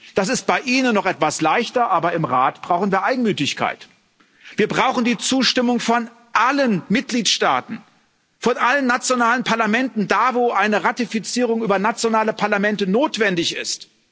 Das ist bei Ihnen noch etwas leichter, aber im Rat brauchen wir Einmütigkeit. Wir brauchen die Zustimmung von allen Mitgliedstaaten, von allen nationalen Parlamenten, da wo eine Ratifizierung über nationale Parlamente notwendig ist.